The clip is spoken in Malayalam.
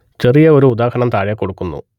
ചെറിയ ഒരു ഉദാഹരണം താഴെ കൊടുക്കുന്നു